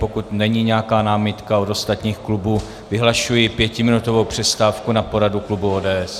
Pokud není nějaká námitka od ostatních klubů, vyhlašuji pětiminutovou přestávku na poradu klubu ODS.